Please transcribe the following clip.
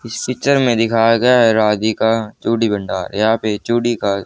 इस पिक्चर में दिखाया गया राधिका चूड़ी भंडार यहां पर चूड़ी का--